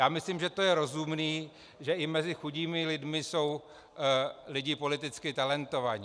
Já myslím, že to je rozumné, že i mezi chudými lidmi jsou lidé politicky talentovaní.